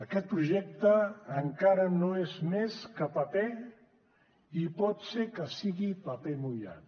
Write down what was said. aquest projecte encara no és més que paper i pot ser que sigui paper mullat